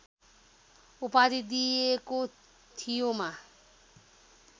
उपाधि दिएको थियोमा